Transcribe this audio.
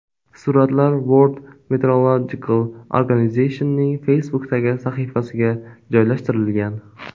Suratlar World Meteorological Organization’ning Facebook’dagi sahifasiga joylashtirilgan .